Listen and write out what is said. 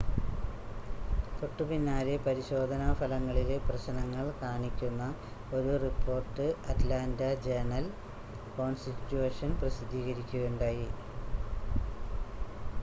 തൊട്ടുപിന്നാലെ പരിശോധനാ ഫലങ്ങളിലെ പ്രശ്നങ്ങൾ കാണിക്കുന്ന ഒരു റിപ്പോർട്ട് അറ്റ്ലാൻ്റ ജേണൽ-കോൺസ്റ്റിറ്റ്യൂഷൻ പ്രസിദ്ധീകരിക്കുകയുണ്ടായി